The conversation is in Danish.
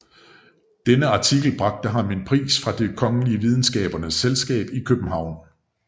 Denne artikel indbragte ham en pris fra Det kongelige Videnskabernes Selskab i København